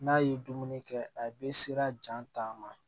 N'a ye dumuni kɛ a bɛ sera jaa taama